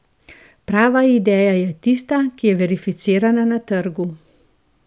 Prava ideja je tista, ki je verificirana na trgu.